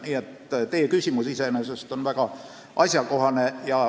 Nii et teie küsimus on väga asjakohane.